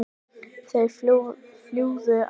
Það flúðu allir.